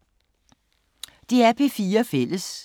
DR P4 Fælles